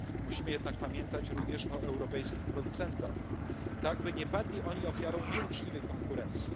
Musimy jednak pamiętać również o europejskich producentach, tak by nie padli oni ofiarą nieuczciwej konkurencji.